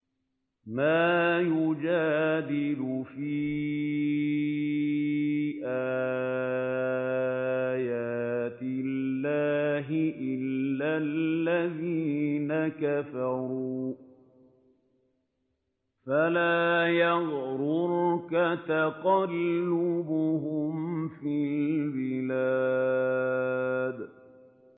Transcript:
مَا يُجَادِلُ فِي آيَاتِ اللَّهِ إِلَّا الَّذِينَ كَفَرُوا فَلَا يَغْرُرْكَ تَقَلُّبُهُمْ فِي الْبِلَادِ